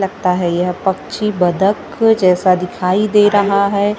लगता है यह पक्षी बदक जैसा दिखाई दे रहा है।